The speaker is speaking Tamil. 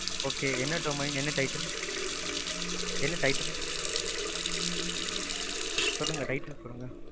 okay என்ன domain, என்ன title? சொல்லுங்க title சொல்லுங்க?